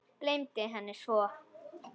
Gleymdi henni svo.